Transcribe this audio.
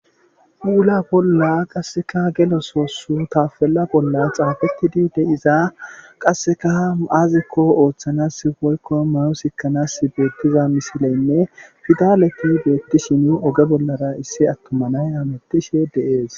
Puula bolla gede soo qassekka tapella bolla xafetidi de'iza qassekka aazakko ooththanasi woykko mayo siikanasi beetiza misilenne pidaleti beetishin nu oge bollara issi atuma nay humutishe de'ees.